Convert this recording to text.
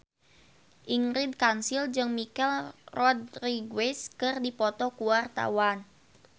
Ingrid Kansil jeung Michelle Rodriguez keur dipoto ku wartawan